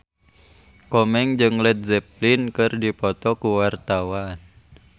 Komeng jeung Led Zeppelin keur dipoto ku wartawan